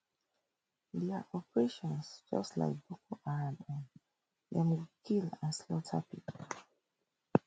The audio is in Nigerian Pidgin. dia operation just like boko haram own dem go attack kill and slaughter pipo